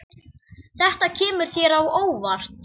Þetta kemur þér á óvart.